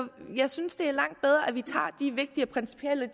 jeg synes det er langt bedre at vi tager de vigtige og principielle